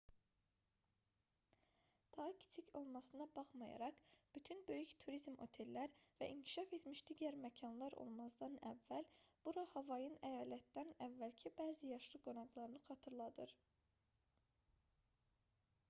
daha kiçik olmasına baxmayaraq bütün böyük turizm otellər və inkişaf etmiş digər məkanlar olmazdan əvvəl bura havayın əyalətdən əvvəlki bəzi yaşlı qonaqlarını xatırladır